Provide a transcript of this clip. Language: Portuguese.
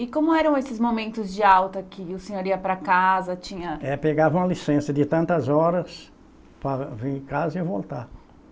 E como eram esses momentos de alta que o senhor ia para casa, tinha... É, pegava uma licença de tantas horas para vir em casa e voltar.